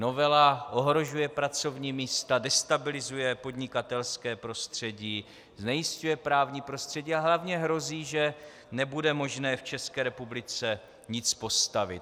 Novela ohrožuje pracovní místa, destabilizuje podnikatelské prostředí, znejisťuje právní prostředí, ale hlavně hrozí, že nebude možné v České republice nic postavit.